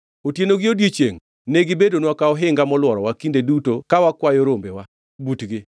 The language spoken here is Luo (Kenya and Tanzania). Otieno gi odiechiengʼ ne gibedonwa ka ohinga molworowa kinde duto ka wakwayo rombewa butgi.